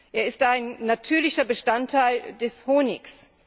Er ist ein natürlicher Bestandteil des Honigs.